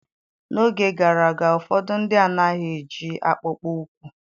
N'oge gara aga ụfọdụ ndị anaghị eji akpụkpọ ụkwụ